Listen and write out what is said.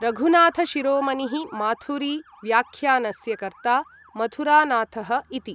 रघुनाथशिरोमणिः माथुरि व्याख्यानस्य कर्ता मथुरानाथः इति